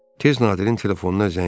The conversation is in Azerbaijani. Tez Nadirin telefonuna zəng vurdu.